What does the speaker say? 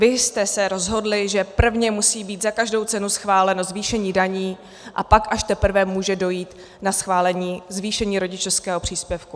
Vy jste se rozhodli, že prvně musí být za každou cenu schváleno zvýšení daní, a pak až teprve může dojít na schválení zvýšení rodičovského příspěvku.